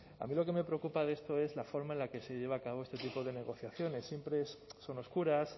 a mí lo que me preocupa de esto es la forma en la que se lleva a cabo este tipo de negociaciones siempre son oscuras